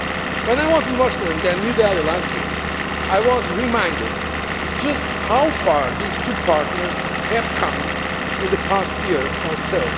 When I was in Washington and New Delhi last week, I was reminded just how far these two partners have come in the past year or so.